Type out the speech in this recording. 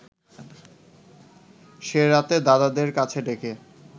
সে রাতে দাদাদের কাছে ডেকে